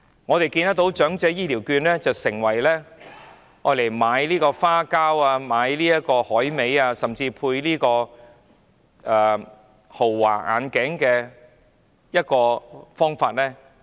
我們看到長者醫療券被用作買花膠、海味，甚至配豪華眼鏡，令公帑流失。